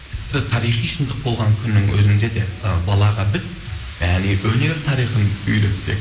тіпті тарихи шындық болған күннің өзінде де ы балаға біз өнер тарихын үйретсек